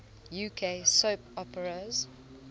uk soap operas